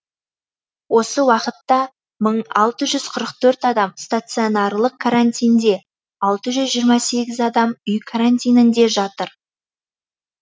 осы уақытта мың алты жүз қырық төрт адам стационарлық карантинде алты жүз жиырма сегіз адам үй карантинінде жатыр